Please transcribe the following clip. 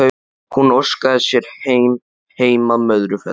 Hún óskaði sér heim, heim að Möðrufelli.